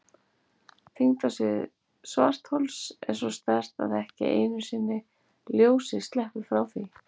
Þyngdarsvið svarthols er svo sterkt að ekki einu sinni ljósið sleppur frá því.